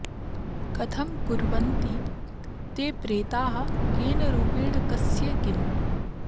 कथं कुर्वन्ति ते प्रेताः केन रूपेण कस्य किम्